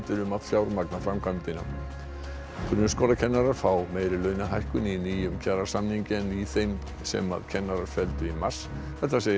um að fjármagna framkvæmdina grunnskólakennarar fá meiri launahækkun í nýjum kjarasamningi en í þeim sem kennarar felldu í mars þetta segir